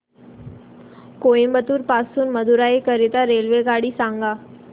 कोइंबतूर पासून मदुराई करीता रेल्वेगाडी सांगा